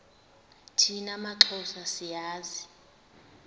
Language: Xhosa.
thina maxhosa siyazi